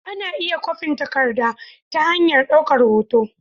Ana iya kwafin takarda ta hanyar daukar hoto